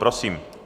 Prosím.